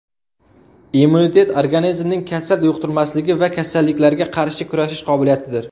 Immunitet organizmning kasal yuqtirmasligi va kasalliklarga qarshi kurashish qobiliyatidir.